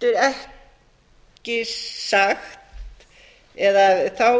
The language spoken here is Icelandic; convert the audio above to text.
ekki sagt eða þá